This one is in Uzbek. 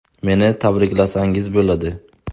Meni tabriklasangiz bo‘ladi.